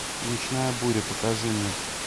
ночная буря покажи мне